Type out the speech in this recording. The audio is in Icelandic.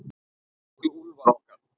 Elsku Úlfar okkar.